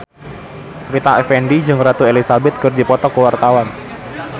Rita Effendy jeung Ratu Elizabeth keur dipoto ku wartawan